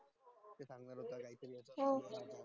हम्म